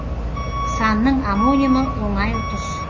санның омонимі оңай ұтыс